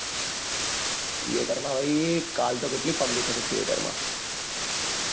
theater માટે કલ તો કેટલી public હતી theater માં